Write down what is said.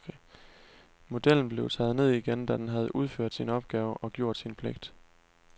Modellen blev taget ned igen, da den havde udført sin opgave og gjort sin pligt.